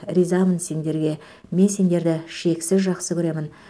ризамын сендерге мен сендерді шексіз жақсы көремін